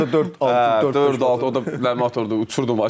Özü də dörd-altı dörd-altı motor idi, uçurdur maşını.